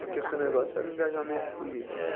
Porque o seu negócio era o engajamento político.